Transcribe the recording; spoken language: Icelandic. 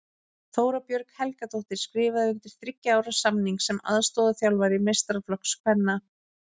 Þóra Björg Helgadóttir skrifaði undir þriggja ára samning sem aðstoðarþjálfari meistaraflokks kvenna.